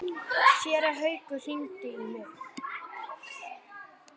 Séra Haukur hringdi í mig.